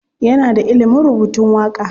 Yana da ilimin rubutun waƙa.